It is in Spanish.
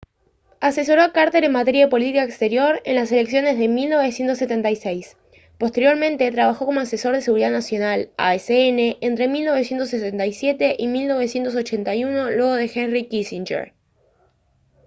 asesoró a carter en materia de política exterior en las elecciones de 1976. posteriormente trabajó como asesor de seguridad nacional asn entre 1977 y 1981 luego de henry kissinger